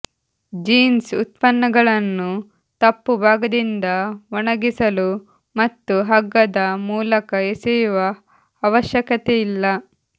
jeans ಉತ್ಪನ್ನಗಳನ್ನು ತಪ್ಪು ಭಾಗದಿಂದ ಒಣಗಿಸಲು ಮತ್ತು ಹಗ್ಗದ ಮೂಲಕ ಎಸೆಯುವ ಅವಶ್ಯಕತೆಯಿಲ್ಲ